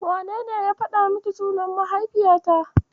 Wanene ya faɗa miki sunan mahaifiyata?